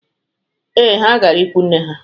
Ee, ha gara ikwunne ha.